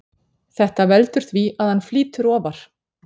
Þetta veldur því að hann flýtur ofar.